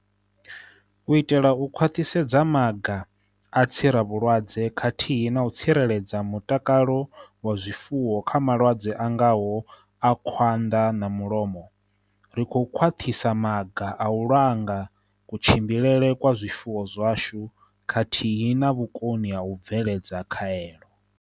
U itela u khwaṱhisedza maga a tsiravhulwadze khathihi na u tsireledza mutakalo wa zwifuwo kha malwadze a ngaho a khwanḓa na mulomo, ri khou khwaṱhisa maga a u langa kutshimbilele kwa zwifuwo zwashu khathihi na vhukoni ha u bveledza khaelo.